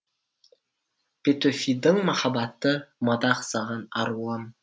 петөфидің махаббаты мадақ саған аруым